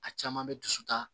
A caman bɛ dusu ta